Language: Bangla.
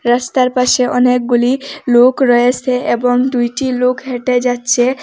রাস্তার পাশে অনেকগুলি লোক রয়েছে এবং দুইটি লোক হেঁটে যাচ্ছে।